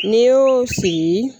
N'i y'o sigi